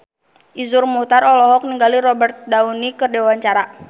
Iszur Muchtar olohok ningali Robert Downey keur diwawancara